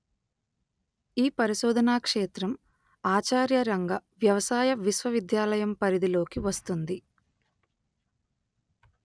ఈ పరిశోధనా క్షేత్రం ఆచార్య రంగా వ్యవసాయ విశ్వవిద్యాయాలయం పరిధిలోకి వస్తుంది